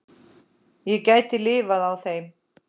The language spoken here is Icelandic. Ég gæti lifað á þeim.